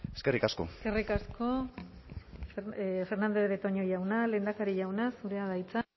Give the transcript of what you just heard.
eskerrik asko eskerrik asko fernandez de betoño jauna lehendakari jauna zurea da hitza